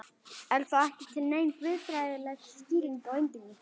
Er þá ekki til nein guðfræðileg skýring á undrinu?